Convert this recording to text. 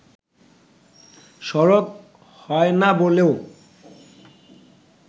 সরব হয়না বলেও